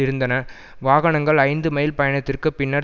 இருந்தன வாகனங்கள் ஐந்து மைல் பயணத்திற்கு பின்னர்